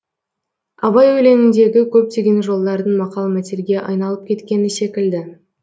абай өлеңіндегі көптеген жолдардың мақал мәтелге айналып кеткені секілді